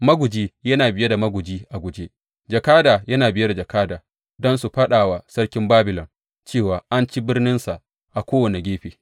Maguji yana biye da maguji a guje, jakada yana biye da jakada, don su faɗa wa sarkin Babilon, cewa an ci birninsa a kowane gefe.